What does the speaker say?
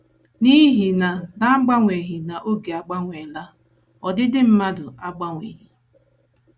N’ihi na n’agbanyeghị na oge agbanweela, ọdịdị mmadụ agbanwebeghị.